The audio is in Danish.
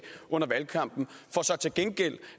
under valgkampen for så til gengæld